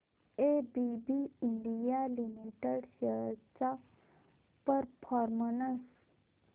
ABB India Limited shares चा performance